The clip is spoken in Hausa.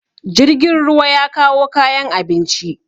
jirgin ruwa ya kawo kayan abinci